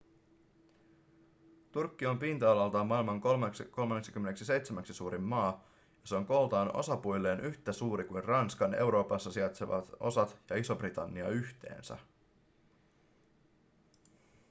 turkki on pinta-alaltaan maailman 37:ksi suurin maa ja se on kooltaan osapuilleen yhtä suuri kuin ranskan euroopassa sijaitsevat osat ja iso-britannia yhteensä